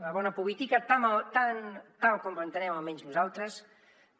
la bona política tal com l’entenem almenys nosaltres